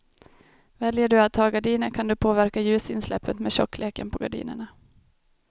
Väljer du att ha gardiner kan du påverka ljusinsläppet med tjockleken på gardinerna.